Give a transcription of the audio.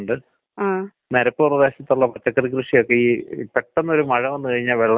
ഈ അതായത് ഈ തണുപ്പ് അധികമാവുമ്പോ വരുന്ന ശ്വാസമുട്ടാണോ?